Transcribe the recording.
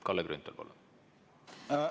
Kalle Grünthal, palun!